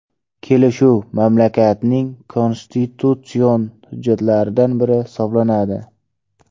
Kelishuv mamlakatning konstitutsion hujjatlaridan biri hisoblanadi.